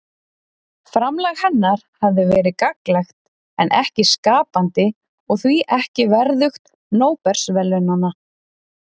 Framlag hennar hafi verið gagnlegt en ekki skapandi og því ekki verðugt Nóbelsverðlaunanna.